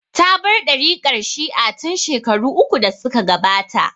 Ta bar ɗariƙar Shi'a tin shekaru uku da suka gabata